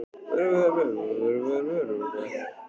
Sé hvernig blóðdropinn rennur til og breiðir sig yfir mig.